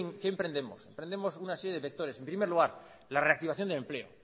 qué emprendemos emprendemos una serie de vectores en primer lugar la reactivación del empleo